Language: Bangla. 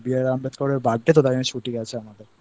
B.R. Ambedkar এর Birthday তো তাই জন্য ছুটি আছে আমাদেরI